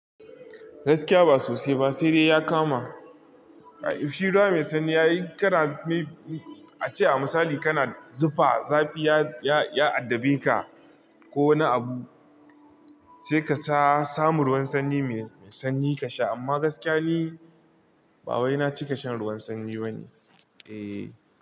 Gaskiya ba sosai ba sai dai ya kama. Shi ruwa mai sanyi ya yi kara me, a ce a misali kana zufa zafi ya, ya addabe ka ko wani abu sai ka sa samu ruwan sanyi mai sanyi ka sha amma gaskiya ni ba wai na cika shan ruwan sanyi bane, eh.